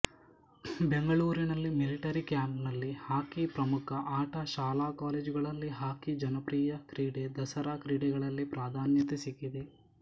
ಬೆಂಗಳೂರಿನಲ್ಲಿದ್ದ military ಕ್ಯಾಂಪಿನಲ್ಲಿ hockey ಪ್ರಮುಖ ಆಟ ಶಾಲಾ ಕಾಲೇಜುಗಳಲ್ಲಿ ಹಾಕಿ ಜನಪ್ರಿಯ ಕ್ರೀಡೆ ದಸರಾ ಕ್ರಿಡೆಗಳಲ್ಲಿ ಪ್ರಾಧಾನ್ಯತೆ ಸಿಕ್ಕಿದೆ